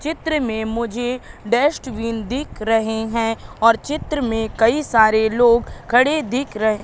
चित्र में मुझे डस्टबिन दिख रहे हैं और चित्र में कई सारे लोग खड़े दिख रहे--